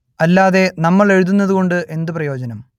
അല്ലാതെ നമ്മൾ എഴുതുന്നത് കൊണ്ട് എന്തു പ്രയോജനം